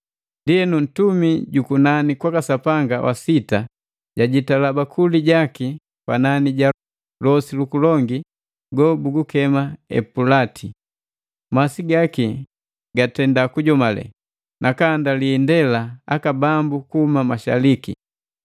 Ndienu, ntumi jukunani kwaka Sapanga wa sita jajitala bakuli jaki panani ja losi lukolongu gobugukema Epulati. Masi gaki gatenda kujomale, nakahandali indela aka bambu kuhuma mashaliki.